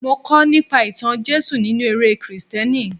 Mo kọ́ nípa ìtàn Jésù nínú eré Kristẹni.